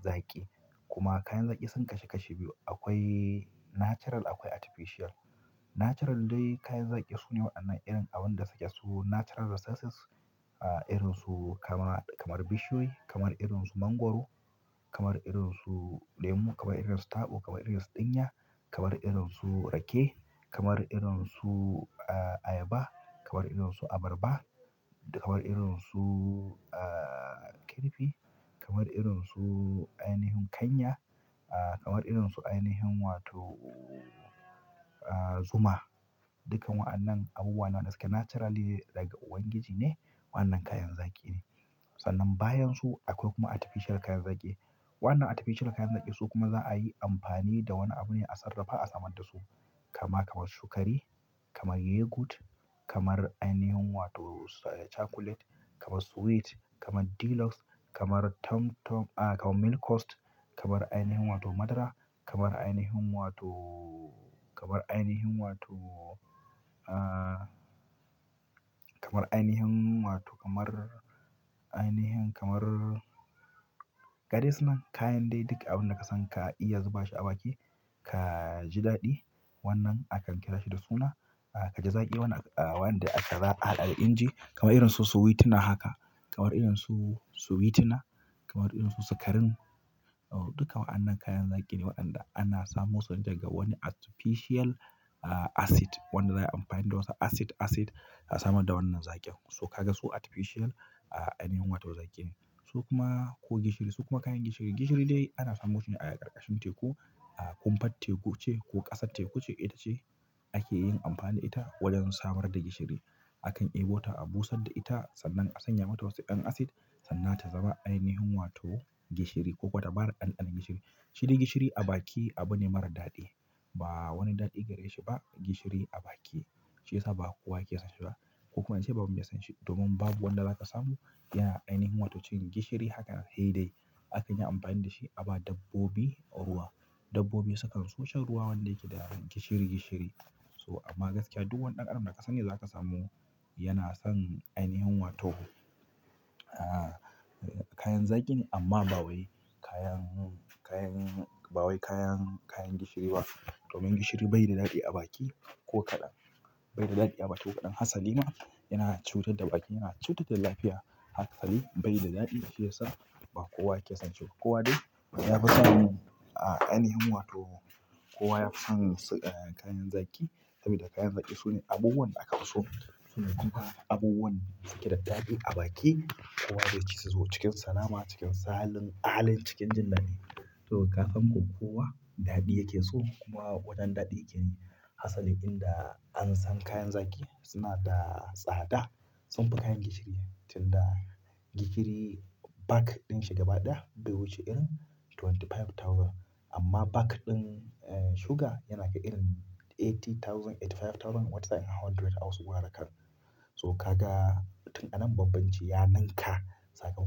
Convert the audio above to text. zaki. Kuma kayan zaki sun kasu kashi biyu. Akwai natural akwai artificial. Natural dai kayan zaƙi sune waɗannan irin abun da suke su natural resources. Irin su kama kamar bishiyoyi, kamar irin su mangwaro, kamar irin su lemu, kamar irin su taɓo, kamar irin su ɗinya, kamar irin su rake, kamar irin su ayaba, kamar irin su abarba, kamar irin su ah. Kirfi, kamar irin su ainihin kanya, ah kamar irin su ainihin wato zuma. Dukkan wa'annan abubuwa ne wanda suke naturally like daga ubangiji ne wa'annan kayan zaƙi ne. Sannan bayan su akwai kuma artificial kayan zaƙi. Wannan artificial kayan zaƙi su kuma za a yi amfani da wani abu ne a sarrafa a samar da su. Kama kamar sukari, kamar yogurt, kamar ainihin wato chocolate, kamar sweet, kamar deluxe, kamar tom tom, kamar milk coast, kamar ainihin wato madara, kamar ainihin wato, kamar ainihin wato, kamar ainihin wato kamar ainihin kamar. Gadai suna kayan dai duk abun da ka san ka iya zuba shi a baki ka ji daɗi. Wannan a kan kira shi da suna ah. Ka ji zaƙi wannan da ake haɗa da inji kamar irin su sweet na haka, kamar irin su sweet na, kamar irin su sukarin. Dukkan wa'annan kayan zaƙi ne waɗanda ana samo sune daga wani artificial ah acid. Wanda za'a yi amfani da wasu acid acid a samar da wannan zaƙin. So ka ga su artificial ainihin wato zaƙi ne. So kuma ko gishiri su kuma kayan gishiri. Gishiri dai ana samu shi ne a ƙarƙashin teku. A kumfat teku ce ko ƙasar teku ce ita ce ake yin amfani da ita wajen samar da gishiri. A kan abota abusar da ita sannan sannan a sanya mata waƴansu acid sannan ainihin ta zama wato gishiri koko ta ba da ɗanɗanon gishiri. Shi dai gishiri a baki abu ne mara daɗi. Ba wani daɗi gareshi ba gishiri a baki. Shiyasa ba kowa ke son shi ba ko kuma an ce babu me son shi domin babu wanda zaka samu yana ainihin wato cen gishiri haka hai dai. Akan yi amfani da shi a ba dabbobi ruwa. Dabbobi sukan so shan ruwa wanda yake da gishiri gishiri. So amma gaskiya duk wani ɗan adam da ka sani zaka samu yana son ainihin wato. Kayan zaƙin amma ba wai kayan, kayan ba wai kayan, kayan gishiri ba. Domin gishiri bai da daɗi a baki ko kaɗan. Bai da daɗi a baki ko kaɗan. Hasalima yana cutar da baki, yana cutar da lafiya haka sali bai da daɗi shiyasa ba kowa ke son shi. Kowa dai ya fi son ainihin wato kowa ya fi son kayan zaƙi sabida kayan zaki sune abubuwan da aka fi so. Sune kuma abubuwan da suke da daɗi a baki. Kowa zai ci su cikin salama, cikin salin al'in, cikin jin daɗi. To kafin ko kowa daɗi yake so kuma waɗannan daɗe ke yi. Hasali inda an san kayan zaƙi suna da tsada sun fi kayan gishiri. Tin da gishiri bag ɗin shi gaba ɗaya bai wuce irin twenty five thousand amma bag ɗin sugar yana ki irin eighty thousand, eighty five thousand wata tsakanin hundred a wasu gurarakan. To ka ga tun anan bambanci ya ninka sakamakon.